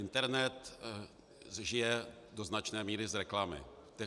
Internet žije do značné míry z reklamy.